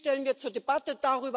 Die stellen wir zur Debatte.